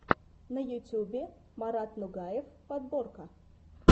на ютюбе марат нугаев подборка